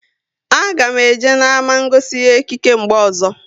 A ga m eje n'ama ngosi ihe ekike mgbe ọzọ